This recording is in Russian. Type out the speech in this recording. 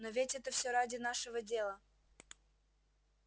но ведь это всё ради нашего дела